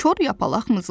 Kor yapaq mızıldandı.